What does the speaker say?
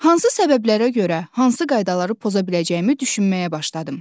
Hansı səbəblərə görə hansı qaydaları poza biləcəyimi düşünməyə başladım.